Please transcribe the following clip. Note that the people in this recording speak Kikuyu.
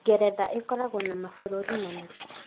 Ngeretha ĩkoragwo na mabũrũri mana.